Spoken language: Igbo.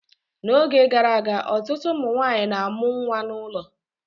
N'oge gara aga ọtụtụ ụmụ nwanyị na-amụ nwa n'ụlọ